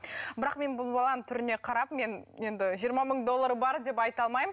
бірақ мен бұл баланың түріне қарап мен енді жиырма мың доллары бар деп айта алмаймын